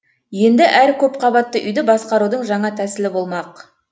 енді әр көп қабатты үйді басқарудың жаңа тәсілі болмақ